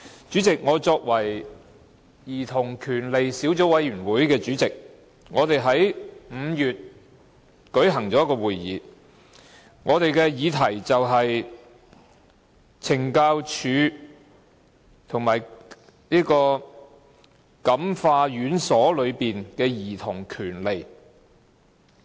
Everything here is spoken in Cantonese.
主席，我是兒童權利小組委員會主席，我們在5月舉行了一個會議，我們的議題是"感化院舍及懲教所內的兒童權利"。